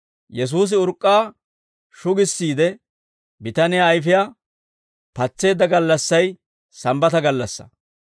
Yesuusi urk'k'aa shugissiide, bitaniyaa ayfiyaa patseedda gallassay Sambbata gallassaa.